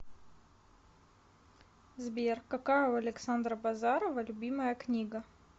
сбер какая у александра базарова любимая книга